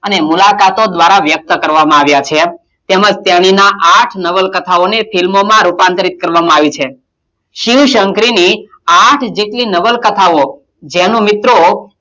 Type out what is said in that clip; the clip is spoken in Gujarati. અને મુલાકાતો દ્વારાં વ્યક્ત કરવામાં આવ્યાં છે તેમજ તેણીનાં આઠ નવલકથાઓને film મોમાં રૂપાંતરિત કરવામાં આવી છે શિવ - શંકરીની આઠ જેટલી નવલકથાઓ જેનું મિત્રો,